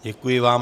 Děkuji vám.